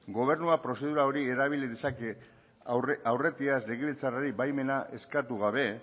gobernuak prozedura hori erabili dezake aurretiaz legebiltzarrari baimena eskatu gabe